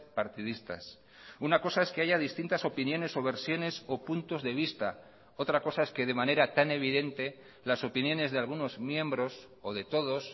partidistas una cosa es que haya distintas opiniones o versiones o puntos de vista otra cosa es que de manera tan evidente las opiniones de algunos miembros o de todos